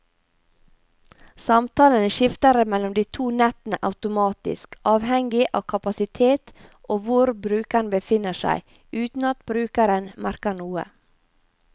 Samtalen skifter mellom de to nettene automatisk, avhengig av kapasitet og hvor brukeren befinner seg, uten at brukeren merker noe.